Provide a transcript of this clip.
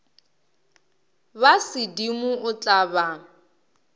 ba sedimo o tla ba